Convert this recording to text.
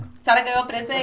A senhora pegou um